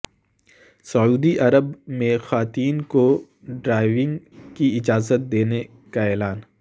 سعودی Arab میں خواتین کو ڈرائیونگ کی اجازت دینے کا اعلان